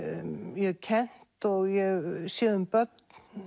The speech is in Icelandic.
ég hef kennt og séð um börn